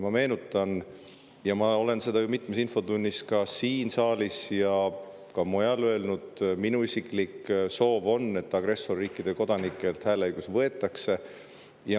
Ma meenutan seda, mida ma olen ju mitmes infotunnis siin saalis ja ka mujal öelnud: minu isiklik soov on, et agressorriikide kodanikelt võetaks hääleõigus.